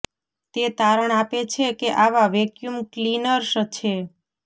તે તારણ આપે છે કે આવા વેક્યૂમ ક્લિનર્સ છે